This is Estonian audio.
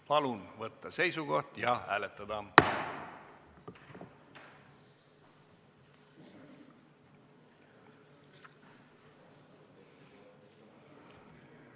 Palun võtta seisukoht ja hääletada!